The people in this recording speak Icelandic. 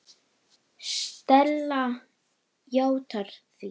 Stella játar því.